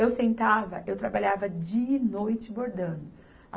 Eu sentava, eu trabalhava dia e noite bordando.